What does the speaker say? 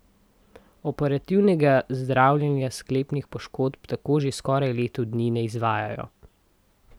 Operativnega zdravljenja sklepnih poškodb tako že skoraj leto dni ne izvajajo.